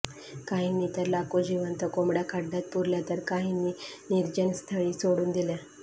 काहींनी तर लाखो जीवंत कोंबड्या खड्यात पुरल्या तर कांहींनी निर्जनस्थळी सोडून दिल्या